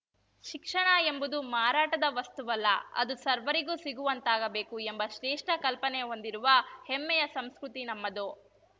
ಶಿಕ್ಷಣ ಎಂಬುದು ಮಾರಾಟದ ವಸ್ತುವಲ್ಲ ಅದು ಸರ್ವರಿಗೂ ಸಿಗುವಂತಾಗಬೇಕು ಎಂಬ ಶ್ರೇಷ್ಠ ಕಲ್ಪನೆ ಹೊಂದಿರುವ ಹೆಮ್ಮೆಯ ಸಂಸ್ಕೃತಿ ನಮ್ಮದು